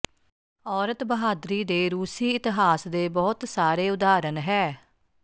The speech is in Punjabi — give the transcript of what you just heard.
ਔਰਤ ਬਹਾਦਰੀ ਦੇ ਰੂਸੀ ਇਤਿਹਾਸ ਦੇ ਬਹੁਤ ਸਾਰੇ ਉਦਾਹਰਣ ਹੈ